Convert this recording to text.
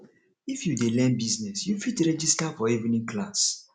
if you dey learn business you fit register for evening class